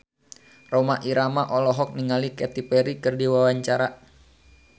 Rhoma Irama olohok ningali Katy Perry keur diwawancara